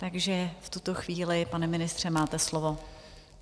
Takže v tuto chvíli, pane ministře, máte slovo.